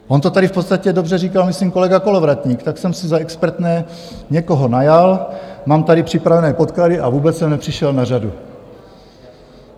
On to tady v podstatě dobře říkal myslím kolega Kolovratník: tak jsem si za expertné někoho najal, mám tady připravené podklady, a vůbec jsem nepřišel na řadu.